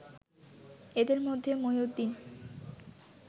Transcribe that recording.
এদের মধ্যে মহিউদ্দিন